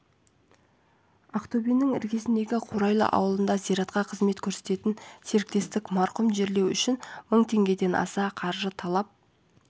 ақтөбенің іргесіндегі қурайлы ауылында зиратқа қызмет көрсететін серіктестік марқұмды жерлеу үшін мың теңгеден аса қаржы талап